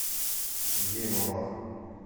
сергею малахову